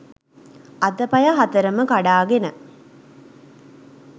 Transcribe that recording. අතපය හතරම කඩාගෙන